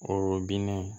O binnen